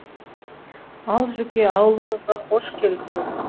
ал жүке ауылымызға хош келіпсіз